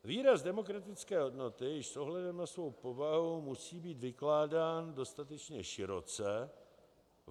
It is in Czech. Výraz demokratické hodnoty již s ohledem na svou povahu musí být vykládán dostatečně široce.